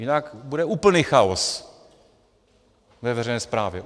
Jinak bude úplný chaos ve veřejné správě.